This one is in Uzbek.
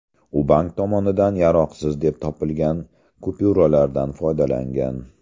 U bank tomonidan yaroqsiz deb topilgan kupyuralardan foydalangan.